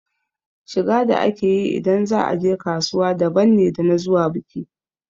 Shiga da ake yi ida za a je kasuwa daban ne da na zuwa biki.